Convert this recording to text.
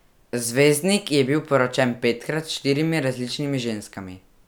Zvezdnik je bil poročen petkrat s štirimi različnimi ženskami.